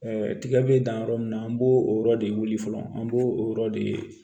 tigɛ bɛ dan yɔrɔ min na an b'o o yɔrɔ de wuli fɔlɔ an b'o o yɔrɔ de ye